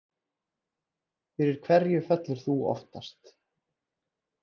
Fyrir hverju fellur þú oftast